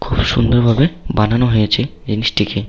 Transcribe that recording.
খুব সুন্দর ভাবে বানানো হয়েছে জিনিসটিকে।